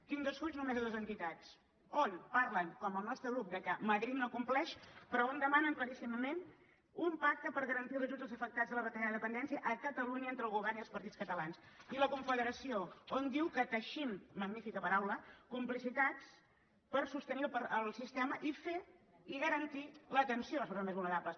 tinc dos fulls només de dues entitats on parlen com el nostre grup que madrid no compleix però on demanen claríssimament un pacte per garantir els ajuts als afectats de la retallada de la dependència a catalunya entre el govern i els partits catalans i la confederació on diu que teixim magnífica paraula complicitats per sostenir el sistema i fer i garantir l’atenció a les persones més vulnerables